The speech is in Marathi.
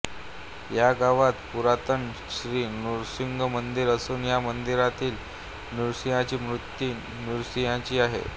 ह्या गावात पुरातन श्री नृसिंह मंदीर असून ह्य मंदिरातील नृसिंहाची मूर्ती योग नृसिंहांची आहे